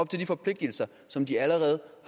de forpligtelser som de allerede